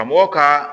A mɔgɔ ka